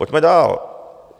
Pojďme dál.